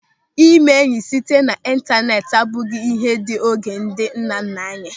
Ịme enyị site n'ịntaneti abụghị ịhe dị oge ndị nnanna anyị.